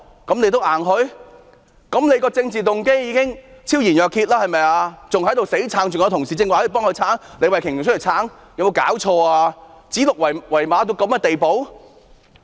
政府的政治動機已經昭然若揭，還在強詞奪理，李慧琼議員剛才還替局長辯護，有沒有搞錯，指鹿為馬到此地步？